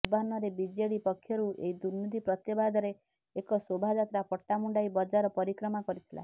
ପୂର୍ବାହ୍ନରେ ବିଜେଡି ପକ୍ଷରୁ ଏହି ଦୁର୍ନୀତି ପ୍ରତିବାଦରେ ଏକ ଶୋଭାଯାତ୍ରା ପଟ୍ଟାମୁଣ୍ଡାଇ ବଜାର ପରିକ୍ରମା କରିଥିଲା